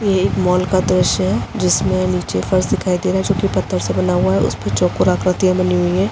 ये एक मॉल का दृश्य है जिसमे नीचे फर्श दिखाई दे रहा है जोकि पत्थर से बना हुआ है उसमे चौकोर आकृति बनी हुईं है।